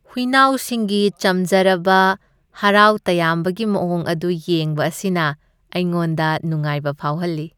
ꯍꯨꯏꯅꯥꯎꯁꯤꯡꯒꯤ ꯆꯝꯖꯔꯕ ꯍꯔꯥꯎ ꯇꯌꯥꯝꯕꯒꯤ ꯃꯑꯣꯡ ꯑꯗꯨ ꯌꯦꯡꯕ ꯑꯁꯤꯅ ꯑꯩꯉꯣꯟꯗ ꯅꯨꯡꯥꯏꯕ ꯐꯥꯎꯍꯜꯂꯤ ꯫